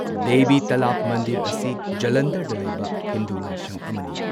ꯗꯦꯕꯤ ꯇꯥꯂꯥꯕ ꯃꯟꯗꯤꯔ ꯑꯁꯤ ꯖꯂꯟꯙꯔꯗ ꯂꯩꯕ ꯍꯤꯟꯗꯨ ꯂꯥꯏꯁꯪ ꯑꯃꯅꯤ꯫